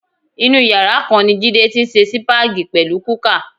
Inú yàrá kan ni Jídé ti ń se sípáàgì pẹ̀lú kúkà.